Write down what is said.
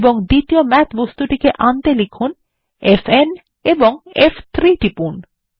এবং দ্বিতীয় ম্যাথ বস্তুটিকে আনতে লিখুন এফএন এবং ফ3 টিপুন